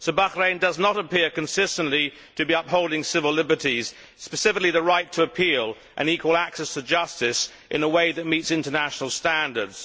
So Bahrain does not appear consistently to be upholding civil liberties specifically the right to appeal and equal access to justice in a way that meets international standards.